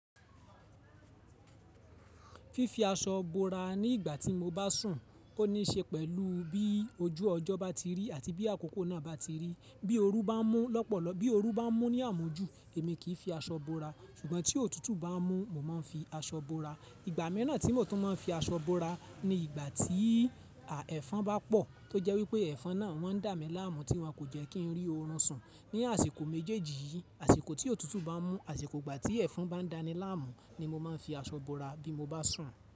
Fífi aṣọ bora ní ìgbà tí mo bá sùn, ó ní í ṣe pẹ̀lú bí ojú ọjọ́ bá ti rí àti bí àkókò náà bá ti rí. Bí ooru bá ń mú lọ́pọ̀lọpọ̀, bí ooru bá ń mú ní àmujù, èmi kì í fi aṣọ bora. Ṣùgbọ́n tí òtútù bá ń mú, mo má ń fi aṣọ bora ìgbà mìràn tí mo tún má ń fi aṣọ bora ní ìgbà tí ẹ̀fọn bá pọ̀ tó jẹ́ wípé ẹ̀fọn náà wọ́n dà mí láàmú tí wọn kò jẹ́ kí n rí orun sùn ní àsìkò méjèèjì yìí, àsìkò tí òtútù bá ń mú, àsìkò ìgbà tí ẹ̀fọn bá ń dàni láàmú ni mo máa ń fi aṣọ bora bí mo bá sùn.